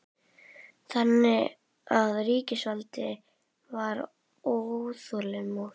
Sindri Sindrason: Þannig að ríkisvaldið var óþolinmótt?